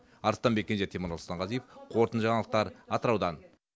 арыстанбек кенже темірлан сұлтанғазиев қорытынды жаңалықтар атыраудан